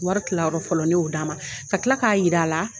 Wari tilayɔrɔ fɔlɔ ne y'o d'a ma ka tila k'a jira a la